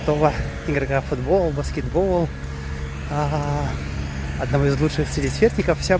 игра футбол баскетбол